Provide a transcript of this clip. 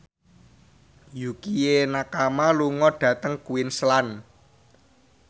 Yukie Nakama lunga dhateng Queensland